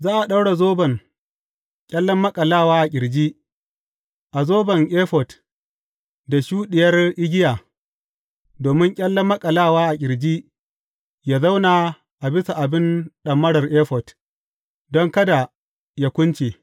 Za a ɗaura zoban ƙyallen maƙalawa a ƙirji a zoban efod da shuɗiyar igiya, domin ƙyallen maƙalawa a ƙirji yă zauna a bisa abin ɗamarar efod, don kada yă kunce.